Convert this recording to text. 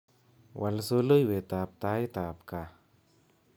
Wal soloiwet ab taitab kaa